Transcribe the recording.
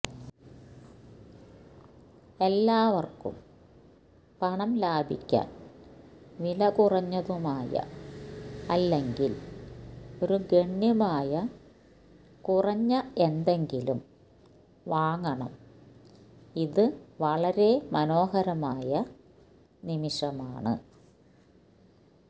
എല്ലാവർക്കും പണം ലാഭിക്കാൻ വിലകുറഞ്ഞതുമായ അല്ലെങ്കിൽ ഒരു ഗണ്യമായ കുറഞ്ഞ എന്തെങ്കിലും വാങ്ങണം ഇത് വളരെ മനോഹരമായ നിമിഷമാണ്